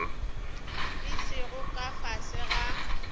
di sego ka fase ga